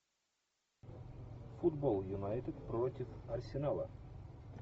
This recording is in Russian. футбол юнайтед против арсенала